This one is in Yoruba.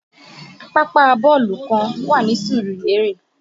Pápá bọ́ọ̀lù kan wà ní Surulere